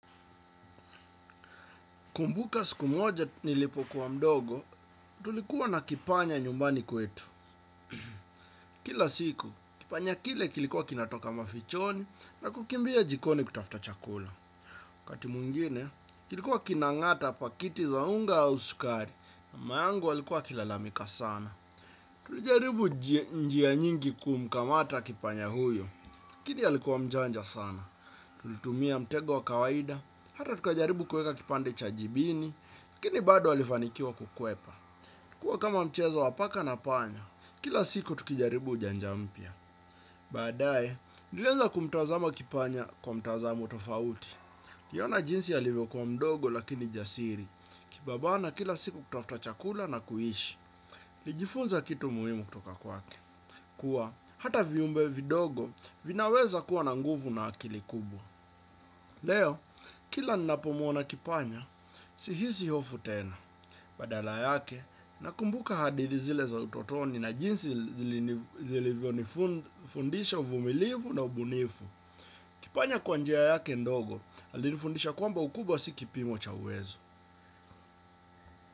Kumbuka siku moja nilipo kuwa mdogo, tulikuwa na kipanya nyumbani kwetu. Kila siku, kipanya kile kilikuwa kinatoka mafichoni na kukimbia jikoni kutafuta chakula. Wakati mwingine, kilikuwa kinangata pakiti za unga au sukari, mama yangu alikuwa akilalamika sana. Tulijaribu njia nyingi kumkamata kipanya huyo. Lakini alikuwa mjanja sana. Tulitumia mtego wa kawaida, hata tukajaribu kuweka kipande cha jibini. Lakini bado alifanikiwa kukuwepa. Kuwa kama mchezo wa paka na panya, kila siku tukijaribu ujanja mpya. Baadae, nilieza kumtazama kipanya kwa mtazamo tofauti. Niliona jinsi alivyokuwa mdogo lakini jasiri. Nikibabana kila siku kutafuta chakula na kuishi. Nilijifunza kitu muhimu kutoka kwake. Kuwa, hata viumbe vidogo vinaweza kuwa na nguvu na akili kubwa. Leo, kila ninapomwona kipanya, sihisi hofu tena. Badala yake nakumbuka hadithi zile za utotoni na jinsi zilivyonifundisha uvumilivu na ubunifu. Kipanya kwa njia yake ndogo, alifundisha kwamba ukubwa si kipimo cha uwezo.